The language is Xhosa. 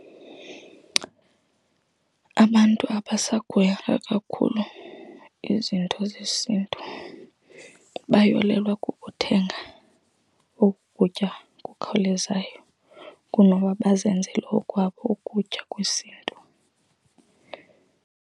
Abantu abasakuhoyanga kakhulu izinto zesiNtu, bayolelwa kukuthenga oku kutya kukhawulezayo kunoba bazenzele okwabo ukutya kwesiNtu.